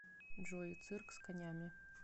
джой цирк с конями